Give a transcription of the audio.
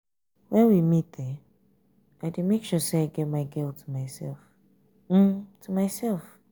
when we meet um i dey make sure say i get my girl to myself um to myself um.